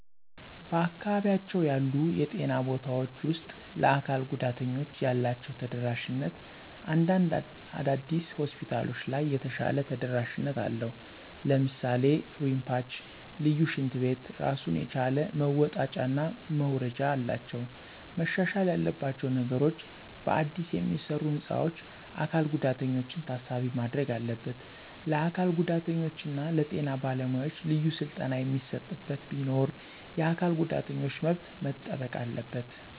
በአካባቢያቸው ያሉ የጤና ቦታውች ውስጥ ለአካል ጉዳተኞች ያላችው ተደራሽነት እንዳንድ አዳዲስ ሆስፒታሎች ለይ የተሻለ ተደረሽነት አለው ለምሳሌ ረምፓች፣ ልዪ ሽንት ቤት ራሱን የቻለ መወጣጨና መውረጃ አላቸው። መሻሻል ያለባቸው ነገሮች በአዲስ የሚሰሩ ህንፃዎች አካል ጉዳተኛችን ታሳቢነት ማድረግ አለበት፣ ለአካል ጉዳተኛ እና ለጤና በለ ሙያዎች ልዩ ስልጠና የሚሰጥበት ቢኖር፣ የአካል ጉዳተኞች መብት መጠበቅ አለበት።